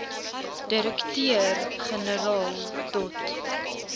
direkteur generaal dot